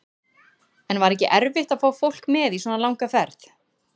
En var ekki erfitt að fá fólk með í svona langa ferð?